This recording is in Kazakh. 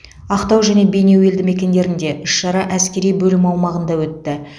ақтау және бейнеу елдімекендерінде іс шара әскери бөлім аумағында өтті